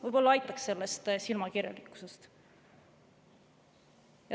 Võib-olla aitab sellest silmakirjalikkusest.